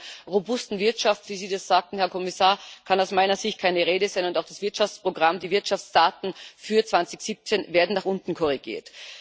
Also von einer robusten Wirtschaft, wie Sie das sagten, Herr Kommissar, kann aus meiner Sicht keine Rede sein, und auch das Wirtschaftsprogramm, die Wirtschaftsdaten für 2017 werden nach unten korrigiert.